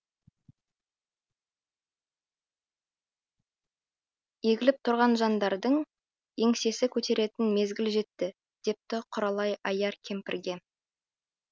егіліп тұрған жандардың еңсесі көтеретін мезгіл жетті депті құралай аяр кемпірге